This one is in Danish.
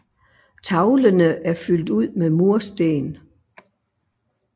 Tavlene er fyldt ud med mursten